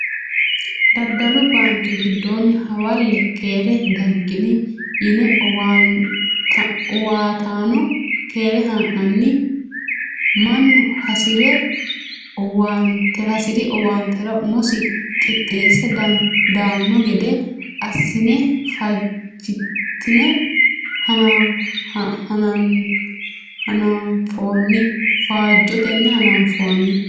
Daddalu baanke giddonni hawalle keere daginni yine owaattano keere ha'nanni mannu hasiri owaantera umosi qixxeesse daano gede assine fajetenni hananfonni.